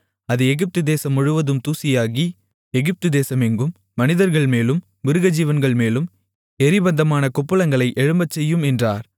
அது எகிப்து தேசம் முழுவதும் தூசியாகி எகிப்து தேசமெங்கும் மனிதர்கள்மேலும் மிருகஜீவன்கள்மேலும் எரிபந்தமான கொப்புளங்களை எழும்பச்செய்யும் என்றார்